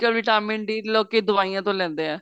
ਅੱਜਕਲ vitamin D ਲੋਕੀ ਦਵਾਈਆਂ ਤੋ ਲੈਂਦੇ ਏ